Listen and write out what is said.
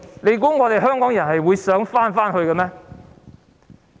你以為香港人想回去這個秩序嗎？